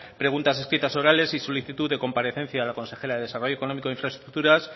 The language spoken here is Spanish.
preguntas escritas orales y solicitud de comparecencia a la consejera de desarrollo económico e infraestructuras